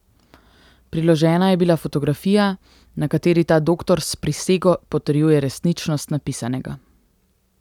Priložena je bila fotografija, na kateri ta doktor s prisego potrjuje resničnost napisanega.